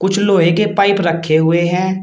कुछ लोहे के पाइप रखे हुए हैं।